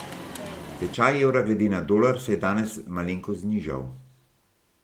Tečaj evra glede na dolar se je danes malenkost znižal.